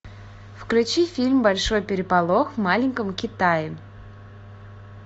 включи фильм большой переполох в маленьком китае